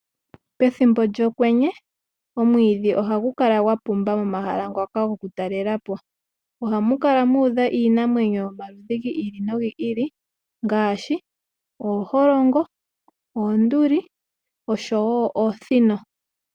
Pethimbo lyokwenye omwiidhi ohagu kala gwapumba momahala ngoka gokutalelwapo. Ohamu kala muudha iinamwenyo yomaludhi giili nogili ngaashi ooholongo, oonduli oshowoo oosino.